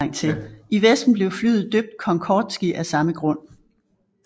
I Vesten blev flyet døbt Concordski af samme grund